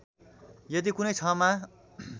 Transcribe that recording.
यदि कुनै क्षमा